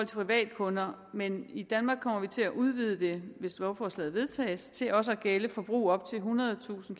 privatkunder men i danmark kommer vi til at udvide det hvis lovforslaget vedtages til også at gælde forbrug op til ethundredetusind